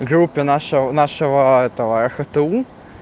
группе нашего нашего этого ахту